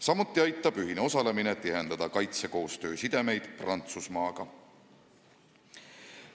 Samuti aitab ühine osalemine tihendada kaitsekoostöö sidemeid Prantsusmaaga.